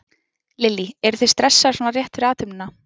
Lillý: Eruð þið stressaðar svona rétt fyrir athöfnina?